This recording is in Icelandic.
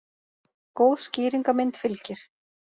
Góð skýringarmynd fylgir.